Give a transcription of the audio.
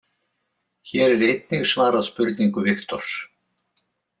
Hér er einnig svarað spurningu Viktors